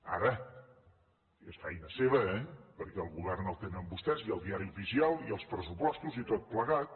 ara és feina seva eh perquè el govern el tenen vostès i el diari oficial i els pressupostos i tot plegat